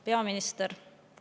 Peaminister!